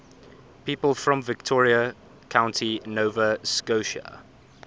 people from victoria county nova scotia